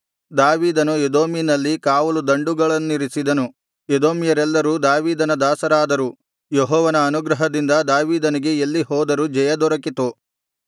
ದಾವೀದನು ಎದೋಮಿನಲ್ಲಿ ಕಾವಲುದಂಡುಗಳನ್ನಿರಿಸಿದನು ಎದೋಮ್ಯರೆಲ್ಲರೂ ದಾವೀದನ ದಾಸರಾದರು ಯೆಹೋವನ ಅನುಗ್ರಹದಿಂದ ದಾವೀದನಿಗೆ ಎಲ್ಲಿ ಹೋದರೂ ಜಯದೊರಕಿತು